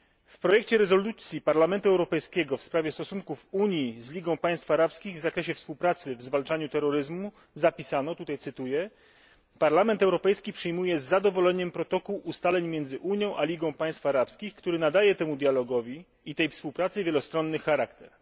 W projekcie rezolucji Parlamentu Europejskiego w sprawie stosunków Unii z Ligą Państw Arabskich w zakresie współpracy w zwalczaniu terroryzmu zapisano tutaj cytuję Parlament Europejski przyjmuje z zadowoleniem protokół ustaleń między Unią a Ligą Państw Arabskich, który nadaje temu dialogowi i tej współpracy wielostronny charakter.